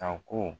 A ko